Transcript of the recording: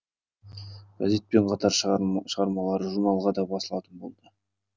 газетпен қатар шығармалары журналға да басылатын болады